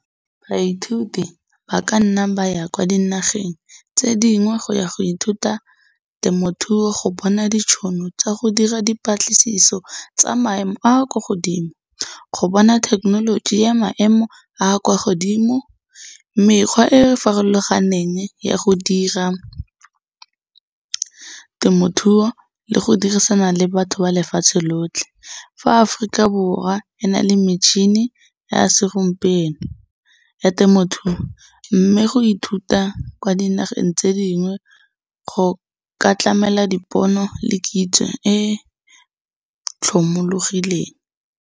Baithuti ba ka nna ba ya kwa dinageng tse dingwe go ya go ithuta temothuo go bona ditšhono tsa go batla dipatlisiso tsa maemo a kwa godimo, go bona thekenoloji ya maemo a kwa godimo. Mekgwa e e farologaneng ya go dira temothuo le go dirisana le batho ba lefatshe lotlhe, fa Aforika Borwa e na le metšhini ya segompieno ya temothuo, mme go ithuta kwa dinageng tse dingwe go ka tlamela dipono le kitso e tlhomologileng.